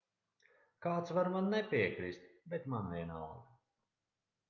kāds var man nepiekrist bet man vienalga